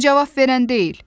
O cavab verən deyil.